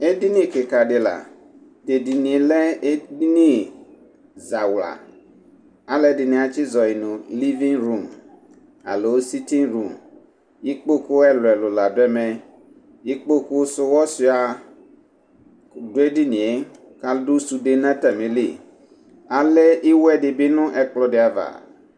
ɛdinikikadila tɛdiniɛ zawla alɔdini azɔnu livirom alɔ sitirom ipkoku sɔonsaɛ bɔɛdiɣɛ kabɔ sɔdɛ nu atanili alɛ iyădibi nu akplɛdiva